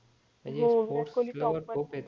हो विराट कोहोली टॉप वर ये